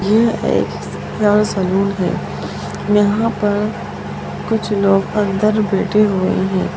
यह एक बड़ा सलौन है यहां पर कुछ लोग अंदर बैठे हुए हैं।